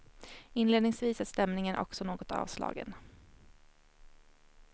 Inledningsvis är stämningen också något avslagen.